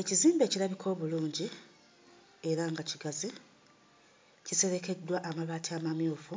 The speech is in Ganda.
Ekizimbe ekirabika obulungi era nga kigazi kiserekeddwa amabaati amamyufu.